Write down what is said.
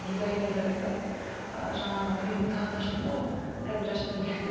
дизайнерлер айтады ы жаңағы мен тағы да шықтым ғой прозрачный көйлекте